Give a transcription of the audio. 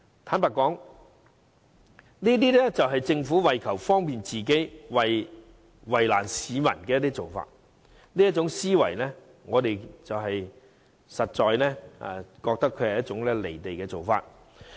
坦白說，這是政府為求方便自己，卻為難市民的做法，這思維實在"離地"。